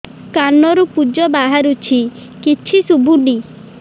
କାନରୁ ପୂଜ ବାହାରୁଛି କିଛି ଶୁଭୁନି